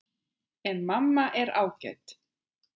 En mamma er ágæt.